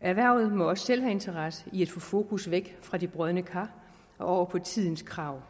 erhvervet må også selv have interesse i at få fokus væk fra de brodne kar og over på tidens krav